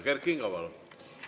Kert Kingo, palun!